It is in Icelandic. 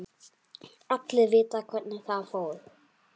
Allir vita hvernig það fór.